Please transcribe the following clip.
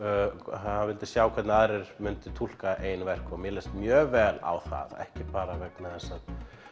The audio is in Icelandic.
hann vildi sjá hvernig aðrir myndu túlka eigin verk og mér leist mjög vel á það ekki bara vegna þess að